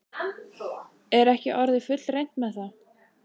Er ekki orðið fullreynt með það?